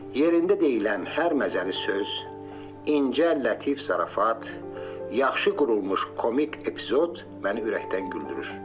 Yerində deyilən hər məzəli söz, incə, lətif zarafat, yaxşı qurulmuş komik epizod məni ürəkdən güldürür.